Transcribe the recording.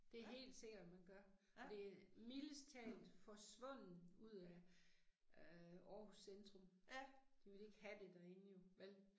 Det er helt sikker man gør, og det er mildest talt forsvundet ud af øh Aarhus centrum. De vil ikke have det derinde jo vel